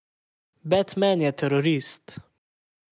Batman je terorist.